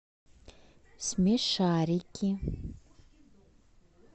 смешарики